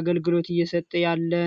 አገልግሎት እየሰጠ ያለ ነው።